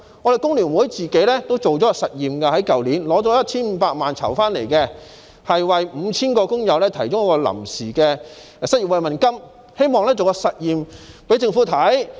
工聯會去年進行了一項實驗，用籌得的 1,500 萬元為 5,000 名工友提供臨時失業慰問金，希望做實驗給政府看。